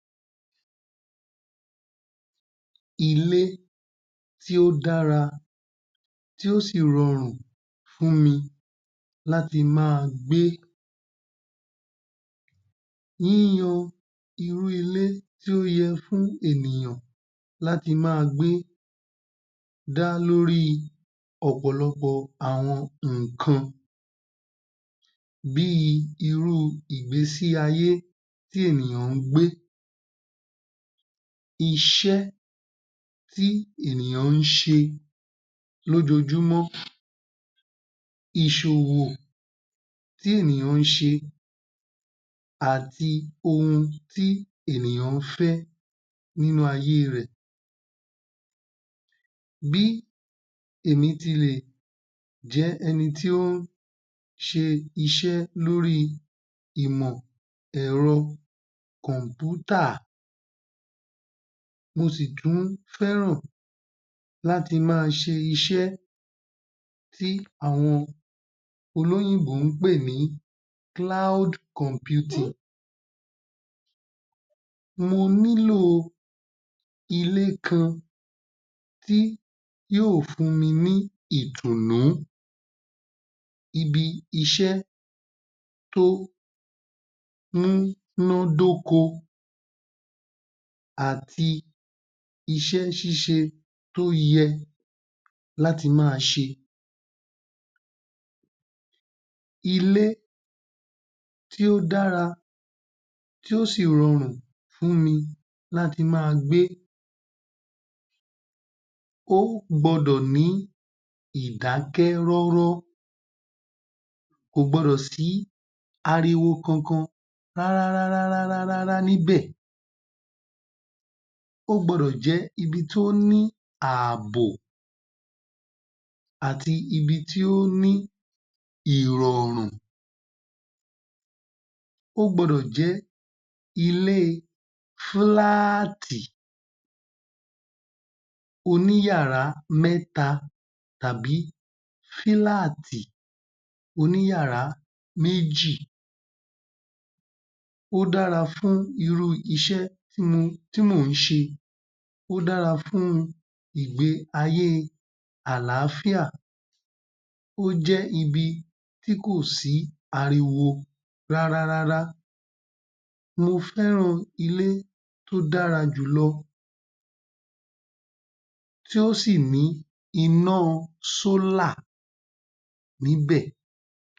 Ilé Tí Ó Dára Tí O Sì Rọrùn Fún Mi Láti Máa Gbé. Yíyan irú ilé tí ó yẹ fún ènìyàn láti máa gbé, dá lóri ọ̀pọ̀lọpọ̀ àwọn nǹkan. Bí irú ìgbésí ayé tí ènìyàn gbé. Iṣẹ́ tí ènìyàn ṣe lójoojúmọ́. Ìṣòwò tí ènìyàn ṣe àti ohun tí ènìyàn fẹ́ nínú ayé rẹ̀. Bí èmi ti lè jẹ́ ẹni tí ó ṣe iṣẹ́ lóri ìmọ̀-ẹ̀rọ kọ̀npútà. Mo sì tún fẹ́ràn láti máa ṣe iṣẹ́ tí àwọn olóyìnbó pé ní. Mo nílò ilé kan tí yóò fún mi ní ìdùnnú. Ibi-iṣẹ́ tó múnádókó àti iṣẹ́ ṣíṣe tó yẹ láti máa ṣe é. Ilé tí ó dára, tí ó sì rọrùn fún mi láti máa gbé. O gbọdọ̀ ní ìdákẹ́ róró. Kò gbọdọ̀ sí ariwo kankan rárárárárárá níbẹ̀. O gbọdọ̀ jẹ́ ibi tó ní ààbò àti ibi tó ní ìrọ̀rùn. O gbọdọ̀ jẹ́ ilé fíláàtí oní yàrá mẹ́ta tàbí fíláàtí oní yàrá méjì. O dára fún irú iṣẹ́ tí mo ń ṣe é. O dára fún ìgbé ayé àlàáfíà. O jẹ́ ibi tí kòsí ariwo rárárá. Mo fẹ́ràn ilé tó dára jù lọ, tí ó sì ní iná níbẹ̀.